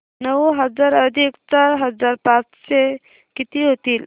नऊ हजार अधिक चार हजार पाचशे किती होतील